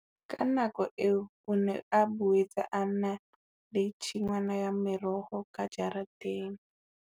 Ka nako eo o ne a boetse a na le tshingwana ya meroho ka jareteng.